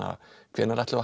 hvenær ætlum